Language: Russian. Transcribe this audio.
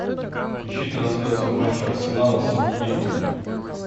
ищи трансляцию матча арсенала с саутгемптоном